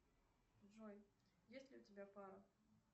джой есть ли у тебя пара